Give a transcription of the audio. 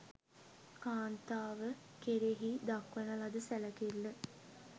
කාන්තාව කෙරෙහි දක්වන ලද සැලකිල්ල